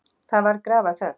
Það varð grafarþögn.